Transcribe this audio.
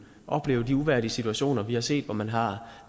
opleve de uværdige situationer vi har set hvor man har